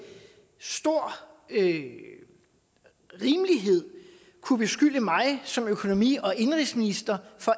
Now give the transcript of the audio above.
stor rimelighed kunne beskylde mig som økonomi og indenrigsminister for